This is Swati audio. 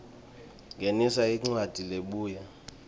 ngenisa incwadzi lebuya